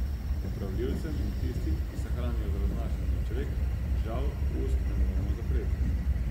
Opravljivcem in tistim, ki se hranijo z raznašanjem čvek, žal, ust ne moremo zapreti.